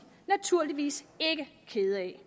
naturligvis ikke kede af